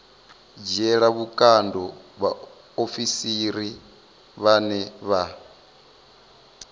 dzhiela vhukando vhaofisiri vhane vha